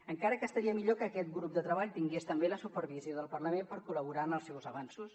encara que estaria millor que aquest grup de treball tingués també la supervisió del parlament per col·laborar en els seus avanços